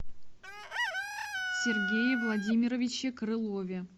сергее владимировиче крылове